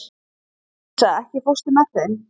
Louisa, ekki fórstu með þeim?